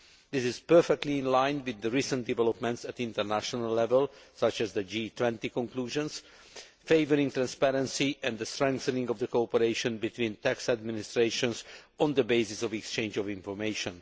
This is perfectly in line with recent developments at international level such as the G20 conclusions favouring transparency and the strengthening of the cooperation between tax administrations on the basis of exchange of information.